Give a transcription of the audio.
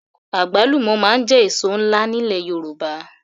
Àgbálùmọ̀ máa ń jẹ́ èso ńlá nílẹ̀ Yorùbá